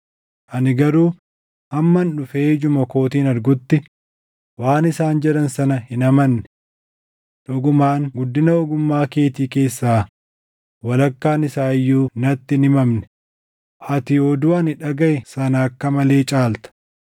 Ani garuu hamman dhufee ijuma kootiin argutti waan isaan jedhan sana hin amanne. Dhugumaan guddina ogummaa keetii keessaa walakkaan isaa iyyuu natti hin himamne; ati oduu ani dhagaʼe sana akka malee caalta.